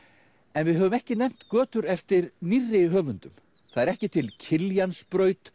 en við höfum ekki nefnt götur eftir nýrri höfundum það er ekki til